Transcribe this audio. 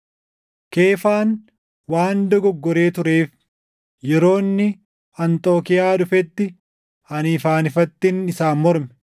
Keefaan waan dogoggoree tureef yeroo inni Anxookiiyaa dhufetti ani ifaan ifattin isaan morme.